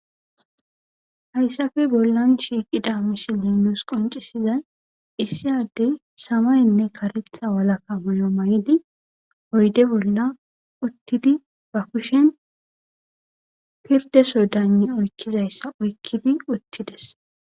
Hayssafe bollan shiiqida misiley nuus qoncisizay issi addey samaynne karetha walakka moyo may'idi oyde bolla uttidi ba kushen pirdeso dani oykkizayssa oykkidi uttides.